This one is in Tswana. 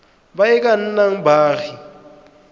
ba e ka nnang baagi